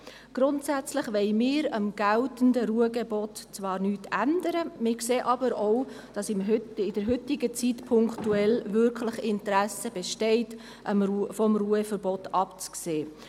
Grundsätzlich wollen wir am geltenden Ruhegebot zwar nichts ändern, wir sehen aber auch, dass in der heutigen Zeit punktuell wirklich Interesse besteht, vom Ruheverbot abzusehen.